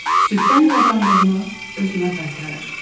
süddən qazandığımı özümə qaytarır.